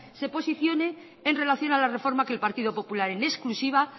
se posicione en relación a la reforma que el partido popular en exclusiva